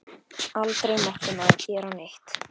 Aldrei mátti maður gera neitt.